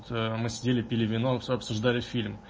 мы сидели пили вино с обсуждали